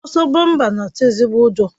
Ọsọ bọmpa na-atụ ezigbo ụjọ